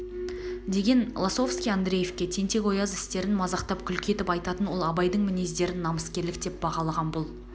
деген лосовский андреевке тентек-ояз істерн мазақтап күлкі етіп айтатын ол абайдың мінездерін намыскерлік деп бағалаған бұл